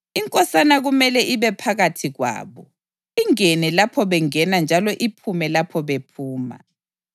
Inkosana kumele ibe phakathi kwabo, ingene lapho bengena njalo iphume lapho bephuma.